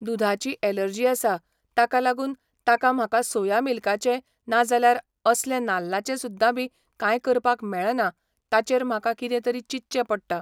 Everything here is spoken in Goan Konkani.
दुधाची ऍलर्जी आसा ताका लागून ताका म्हाका सोया मिल्काचें ना जाल्यार असलें नाल्लाचें सुद्दां बी काय करपाक मेळना ताचेर म्हाका कितें तरी चिंतचे पडटा